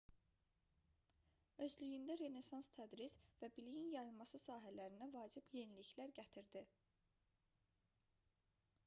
özlüyündə renesans tədris və biliyin yayılması sahələrinə vacib yeniliklər gətirdi